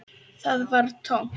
Það var tómt.